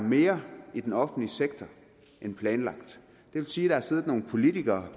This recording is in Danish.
mere i den offentlige sektor end planlagt det vil sige at der har siddet nogle politikere